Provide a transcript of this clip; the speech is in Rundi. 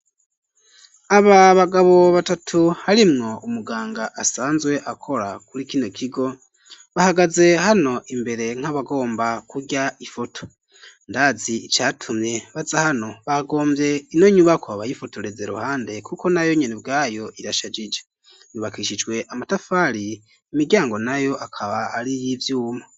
Aba bagabo batatu, harimwo umuganga, asanzwe akora, kuri kino kigo; bahagaze hano imbere, nk'abagomba kurya, ifoto; ndazi icatumye baza hano, bagomvye ino nyubakwa, bayifotoreze iruhande, kuko nayo nyene ubwayo, irashajije; yubakishijwe amatafari, imiryango nayo, akaba ari iy'ivyuma.